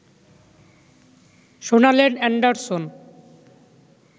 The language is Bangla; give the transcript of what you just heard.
শোনালেন অ্যান্ডারসন